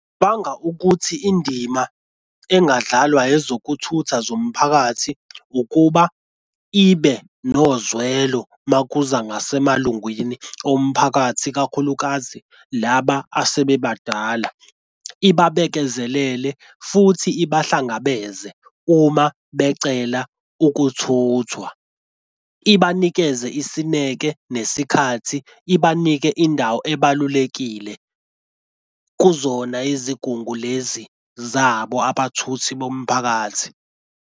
Banga ukuthi indima engadlalwa ezokuthutha zomphakathi ukuba ibe nozwelo uma kuza ngasemalungwini omphakathi ikakhulukazi laba asebebadala ibe babekezelelene futhi ibahlangabeze uma becela ukuthuthwa. Ibanikeze isineke, nesikhathi, ibanike indawo ebalulekile kuzona izigungu lezi zabo abathuthi bomphakathi.